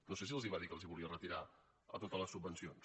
no sé si els va dir que els volia retirar totes les subvencions